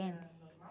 Era normal?